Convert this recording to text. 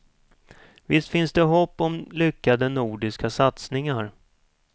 Visst finns det hopp om lyckade nordiska satsningar.